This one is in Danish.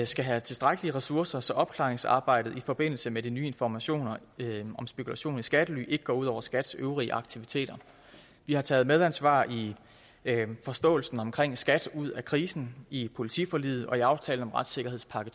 skal have tilstrækkelige ressourcer så opklaringsarbejdet i forbindelse med de nye informationer om spekulation i skattely ikke går ud over skats øvrige aktiviteter vi har taget medansvar i forståelsen omkring skat ud af krisen i politiforliget og i aftalen om retssikkerhedspakke